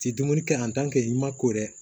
Ti dumuni kɛ i ma ko dɛ